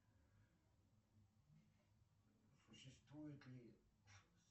существует ли